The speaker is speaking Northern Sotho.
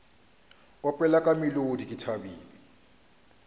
opela ka molodi ke thabile